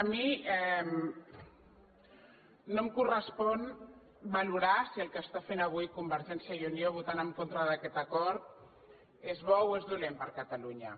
a mi no em correspon valorar si el que està fent avui convergència i unió votant en contra d’aquest acord és bo o és dolent per a catalunya